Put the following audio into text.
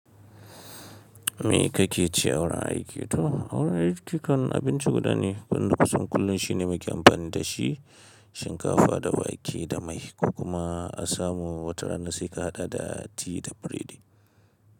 Me kake ci a wurin aiki to? A wurin aiki kan abinci guda ne, wanda kusan kullum shine muke amfani da shi shinkafa da wake da mai, ko kuma a samu wataranna sai ka haɗa da ti da furedi.